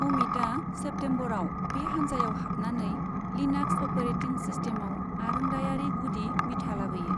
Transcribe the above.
अमितआ सेप्टेमबराव बे हानजायाव हाबनानै लिनाक्स अपारेटिं सिस्टेमाव आरोंदायारि गुदि बिथा लाबोयो।